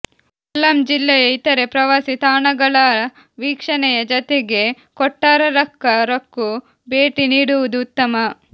ಕೊಲ್ಲಂ ಜಿಲ್ಲೆಯ ಇತರೆ ಪ್ರವಾಸಿ ತಾಣಗಳ ವೀಕ್ಷಣೆಯ ಜತೆಗೆ ಕೊಟ್ಟಾರಕ್ಕರಕ್ಕೂ ಭೇಟಿ ನೀಡುವುದು ಉತ್ತಮ